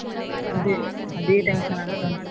ಅದೇ ಅದೇ tension ಆಗ್ತಾ ಉಂಟು.